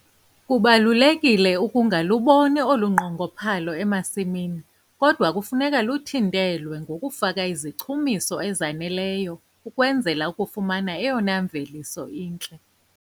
Kubalulekile ukungaluboni olu nqongophalo emasimini kodwa kufuneka luthintelwe ngokufaka izichumiso ezaneleyo ukwenzela ukufumana eyona mveliso intle.